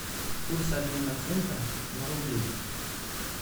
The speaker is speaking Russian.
курс обмена фунта на рубли